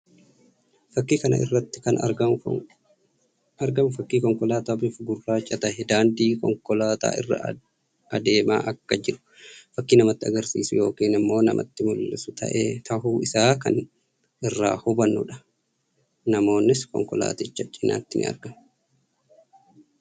Fakkii kana irratti kan argamu fakkii Konkolaataa bifaan gurraacha tahee; daandii konkolaataa irra adeemaa akka jiru fakkii namatti agarsiisuu yookiin immoo namatti mullisu tahuu isaa kan irraa hubanuu dha. Namoonnis konkolaaticha cinatti ni argamu.